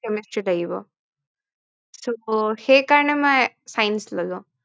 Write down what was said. So সেইকাৰনে মই Science ললো Chemistry লাগিব